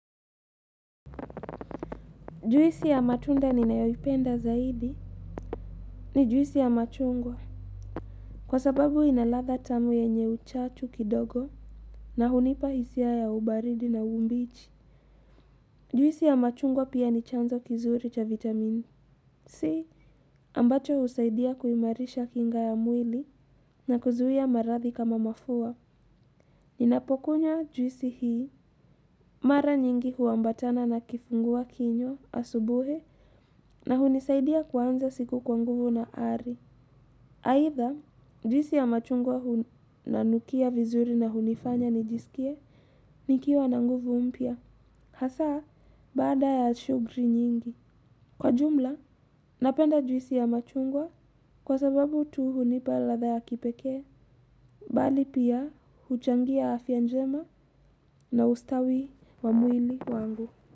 Juisi ya matunda ninayoipenda zaidi. Ni juisi ya machungwa. Kwa sababu ina ladha tamu yenye uchachu kidogo. Na hunipa hisia ya ubaridi na umbichi. Juisi ya machungwa pia ni chanzo kizuri cha vitamini. Si ambacho husaidia kuimarisha kinga ya mwili. Na kuzuia maradhi kama mafua. Ninapokunywa juisi hii. Mara nyingi huambatana na kifungua kinywa, asubuhi. Na hunisaidia kuanza siku kwa nguvu na ari. Aidha, juisi ya machungwa inanukia vizuri na hunifanya nijisikie, nikiwa na nguvu mpya. Hasa, baada ya shugri nyingi. Kwa jumla, napenda juisi ya machungwa kwa sababu tu hunipa ladha ya kipekee. Bali pia, huchangia afya njema na ustawi wa mwili wangu.